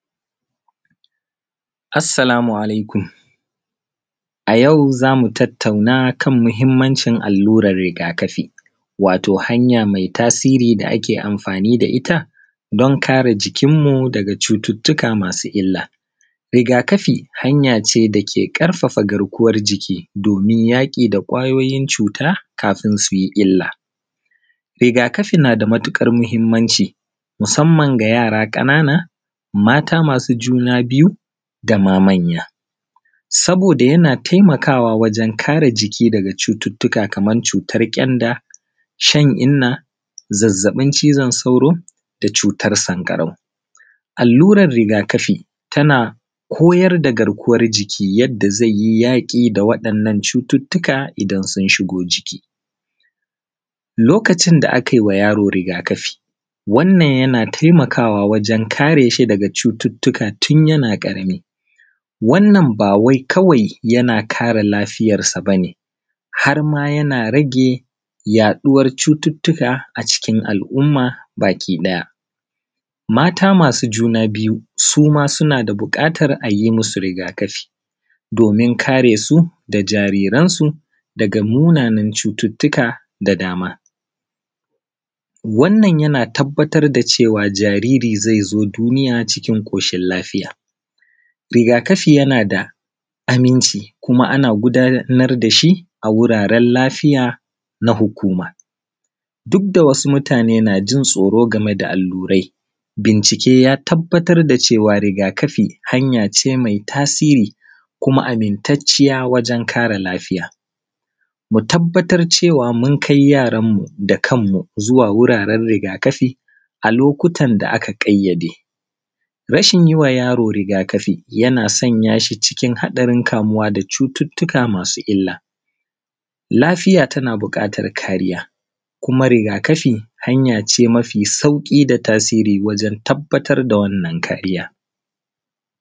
assalamu alaikum a yau zamu tattauna kan muhimmancin alluran rigakafi wato hanya mai tasiri da ake amfani da ita don kare jikin mu daga cututtuka masu illa rigakafi hanya ce da ke ƙarfafa garkuwar jiki domin yaƙi da ƙwayoyin cuta kafin su yi illa rigakafi na da matuƙar muhimmanci musamman ga yara ƙanana mata masu juna biyu da ma manya saboda yana taimakawa wajan kare jiki daga cututtuka kamar cutan ƙyanda shan inna zazzaɓin cizon sauro da cutar sanƙarau alluran rigakafi tana koyar da garkuwar jiki yadda zai yi yaƙi da wa’innan cututtuka idan sun shigo ciki a lokacin da akai wa yaro rigakafi wannan yana taimakawa wajan kare shi dagaʤ cututtuka tun yana ƙarami wannan ba wai kawai yana kare lafiyar sa bane har ma yana rage yaɗuwar cututtuka a cikin al’umma baki ɗaya mata masu juna biyu suma suna da buƙatar a yi musu rigakafi domin kare su da jariransu daga munanan cututtuka da dama wannan yana tabbatar da cewa jariri zai zo duniya cikin ƙoshin lafiya rigakafi yana da aminci kuma a na gudanar da shi a wuraren lafiya na hukuma duk da wasu mutane na jin tsoro game da allurai bincike ya tabbatar da cewa rigakafi hanya ce mai tasiri kuma amintacciya wurin kare lafiya mu tabbatar da cewa mun kai yaranmu da kanmu zuwa wuraren rigakafi a lokutan da aka ƙayyade rashin yiwa yaro rigakafi yana sanya shi cikin haɗarin kamuwa da cututtuka masu illa lafiya tana buƙatar kariya kuma rigakafi hanya ce mafi sauƙi da tasiri wajan tabbatar da wannan kariya